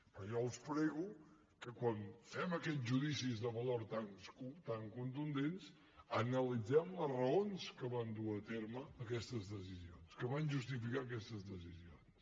per tant jo els prego que quan fem aquests judicis de valor tan contundents analitzem les raons que van dur a terme aquestes decisions que van justificar aquestes decisions